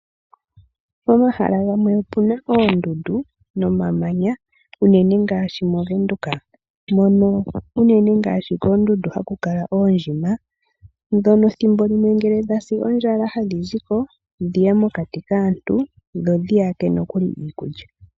Pomahala gamwe opuna oondundu nomamanya, unene ngaashi movenduka. Koondundu unene ohaku kala oondjima, ndhono thimbo limwe ngele dhasi ondjala, ohadhi ziko, dhiye mokati kaantu, dho dhiyake iikulya.